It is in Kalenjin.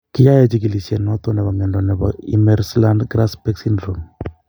Kiyae Chigilisiet noton nebo mnyondo nebo Imerslund Grasbeck syndrome